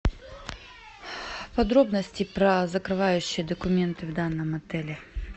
подробности про закрывающие документы в данном отеле